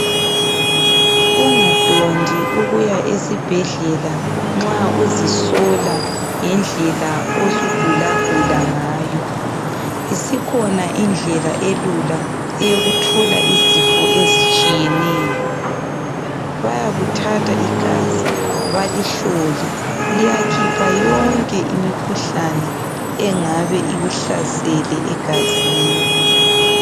Ungadondi ukuya esibhedlela nxa uzisola ngendlela osugulagula ngayo. Isikhona indlela elula eyokuthola izifo ezitshiyeneyo. Bayakuthatha igazi balihlole liyakhipha yonke imikhuhlane engabe ikuhlasele egazini.